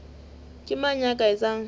ke mang ya ka etsang